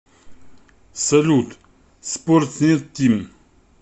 салют спортснет тим